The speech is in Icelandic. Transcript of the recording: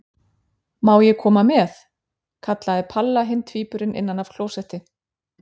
Má ég koma með? kallaði Palla hinn tvíburinn innan af klósetti.